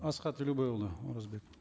асхат елубайұлы оразбеков